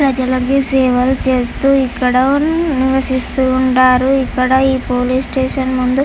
ప్రజలకి సేవలు చేస్తూ ఇక్కడ నివసిస్తూ ఉంటారు. ఇక్కడ ఈ పోలీస్ స్టేషన్ ముందు --